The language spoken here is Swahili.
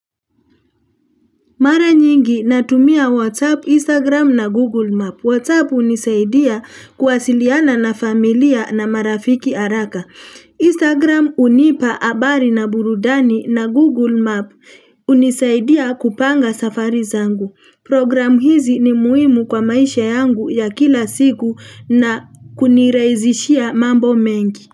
Mara nyingi natumia WhatsApp, Instagram na Google Map. WhatsApp hunisaidia kuwasiliana na familia na marafiki haraka. Instagram hunipa habari na burudani na Google Map hunisaidia kupanga safari zangu. Program hizi ni muhimu kwa maisha yangu ya kila siku na kunirahizishia mambo mengi.